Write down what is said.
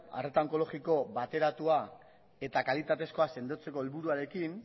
arreta onkologiko bateratua eta kalitatezkoa sendotzeko helburuarekin